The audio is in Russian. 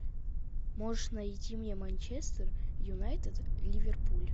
можешь найти мне манчестер юнайтед ливерпуль